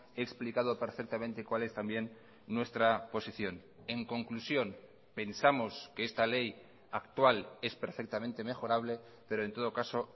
he explicado perfectamente cuál es también nuestra posición en conclusión pensamos que esta ley actual es perfectamente mejorable pero en todo caso